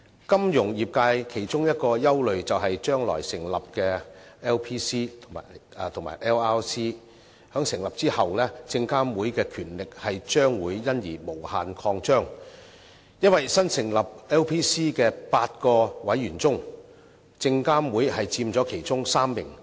金融業界其中一個憂慮，是將來成立的 LPC 及 LRC 在成立後，證監會的權力將會因而無限擴張，因為新成立 LPC 的8名委員中，證監會佔其中3名。